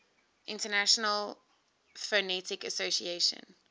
international phonetic association